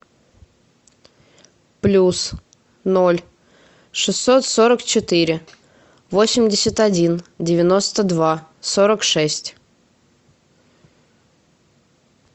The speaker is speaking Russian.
плюс ноль шестьсот сорок четыре восемьдесят один девяносто два сорок шесть